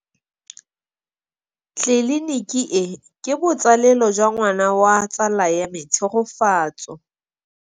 Tleliniki e, ke botsalêlô jwa ngwana wa tsala ya me Tshegofatso.